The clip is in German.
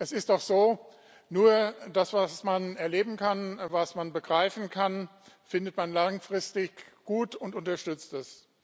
Es ist doch so Nur das, was man erleben kann, was man begreifen kann, findet man langfristig gut und unterstützt es.